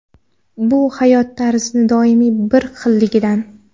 Bu hayot tarzini doimiy bir xilligidan.